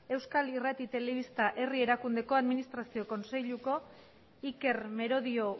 euskal irrati telebista herri erakundeko administrazio kontseiluko iker merodio